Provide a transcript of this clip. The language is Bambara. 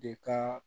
De ka